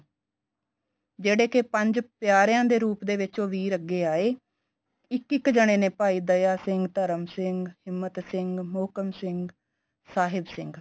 ਜਿਹੜੇ ਕੇ ਪੰਜ ਪਿਆਰਿਆਂ ਦੇ ਰੂਪ ਦੇ ਵਿੱਚ ਉਹ ਵੀਰ ਅੱਗੇ ਆਏ ਇੱਕ ਜਾਨੇ ਨੇ ਭਾਈ ਦਇਆ ਸਿੰਘ ਭਾਈ ਧਰਮ ਸਿੰਘ ਹਿਮਤ ਸਿੰਘ ਮੋਹਕਮ ਸਿੰਘ ਸਾਹਿਬ ਸਿੰਘ